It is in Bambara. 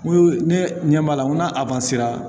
N ko ne ɲɛ b'a la n ko n'a